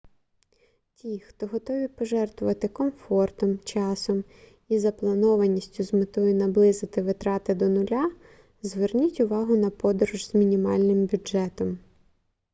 ті хто готові пожертвувати комфортом часом і запланованістю з метою наблизити витрати до нуля зверніть увагу на подорож з мінімальним бюджетом